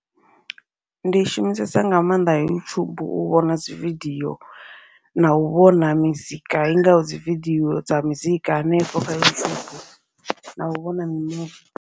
Ndi shumisesa nga maanḓa YouTube u vhona dzi vidiyo, nau vhona mizika i ngaho dzi vidio dza mizika hanefho kha YouTube nau vhona mi muvi.